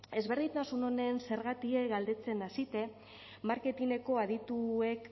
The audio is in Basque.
ezberdintasun honen zergatie galdetzen hasite marketineko adituek